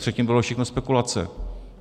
Předtím bylo všechno spekulací.